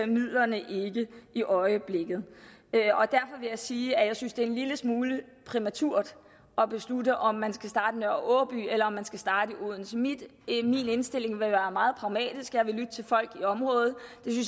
midlerne ikke i øjeblikket derfor vil jeg sige at jeg synes at det er en lille smule præmaturt at beslutte om man skal starte i nørre aaby eller om man skal starte i odense min indstilling vil være meget pragmatisk jeg vil lytte til folk i området